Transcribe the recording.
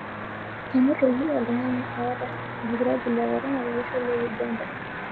Enotoki oltung'ani ota olkirobi le korona tolosho le Uganda.